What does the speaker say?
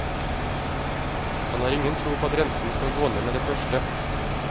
Han har ingen tro på at renten skal gå ned med det første.